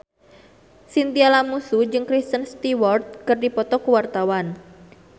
Chintya Lamusu jeung Kristen Stewart keur dipoto ku wartawan